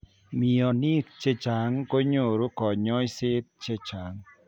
Mionik chechang' konyoruu kanyoiseet chechang'